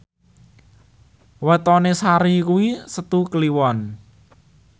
wetone Sari kuwi Setu Kliwon